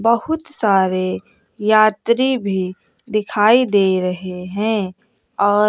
बहुत सारे यात्री भी दिखाई दे रहे हैं और--